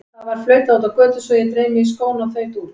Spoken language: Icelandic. Það var flautað úti á götu svo ég dreif mig í skóna og þaut út.